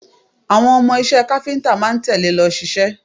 Àwọn ọmọ iṣẹ́ káfíńtà máa ń tẹ̀le lọ ṣiṣẹ́